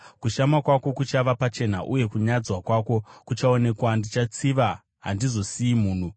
Kushama kwako kuchava pachena, uye kunyadzwa kwako kuchaonekwa. Ndichatsiva; handizosiyi munhu.”